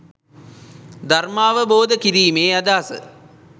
ධර්මාවබෝධ කිරීමේ අදහස